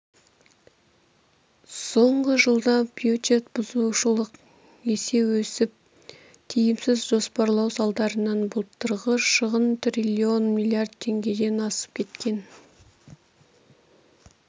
соңғы жылда бюджет бұзушылық есе өсіп тиімсіз жоспарлау салдарынан былтырғы шығын триллион миллиард теңгеден асып кеткен